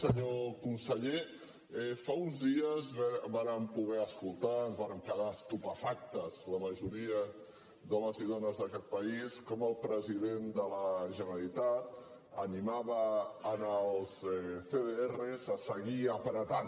senyor conseller fa uns dies vàrem poder escoltar ens vàrem quedar estupefactes la majoria d’homes i dones d’aquest país com el president de la generalitat animava els cdr a seguir apretant